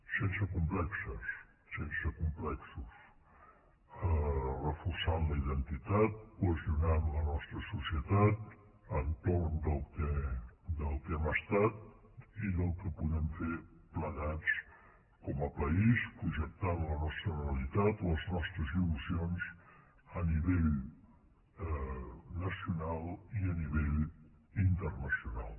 sense complexos sense complexos reforçant la identitat cohesionant la nostra societat entorn del que hem estat i del que podem fer plegats com a país projectant la nostra realitat les nostres il·lusions a nivell nacional i a nivell internacional